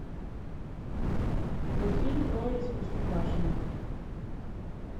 мультфильм трое из простоквашино